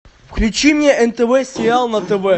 включи мне нтв сериал на тв